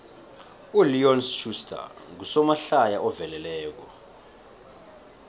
uleon schuster ngusomahlaya oveleleko